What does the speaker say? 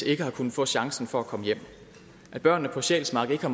ikke har kunnet få chancen for at komme hjem at børnene på sjælsmark ikke har